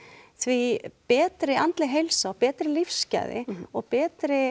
því betri andleg heilsa og því betri lífsgæði og betri